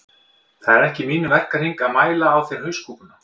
Það er ekki í mínum verkahring að mæla á þér hauskúpuna